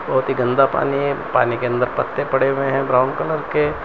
बहोत ही गंदा पानी है पानी के अंदर पत्ते पड़े हुए हैं ब्राउन कलर के।